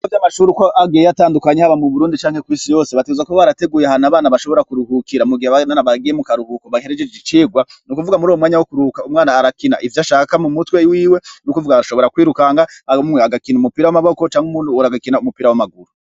Ibigo vy'amashuri uko agiye atandukanye aba mu burundi canke kw'isi yose bategerezwa kuba barateguye hanu abana bashobora kuruhukira mugihe abandi bana bagiye mu karuhuko bahejeje icirwa n'ukuvuga muruyo mwanya wo kuruhuka umwana arakina ivyo ashaka mu mutwe wiwe nukuvuga arashobora kwirukanga abamwe bagakina umupira w'amaboko canke uwundi muntu agakina umupira w'amaguru.